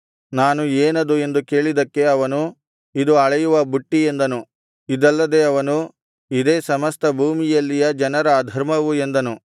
ನಾನು ಏನದು ಎಂದು ಕೇಳಿದ್ದಕ್ಕೆ ಅವನು ಇದು ಅಳೆಯುವ ಬುಟ್ಟಿ ಎಂದನು ಇದಲ್ಲದೆ ಅವನು ಇದೇ ಸಮಸ್ತ ಭೂಮಿಯಲ್ಲಿಯ ಜನರ ಅಧರ್ಮವು ಎಂದನು